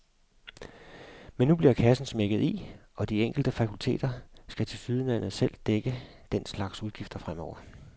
Men nu bliver kassen smækket i, og de enkelte fakulteter skal tilsyneladende selv dække den slags udgifter fremover.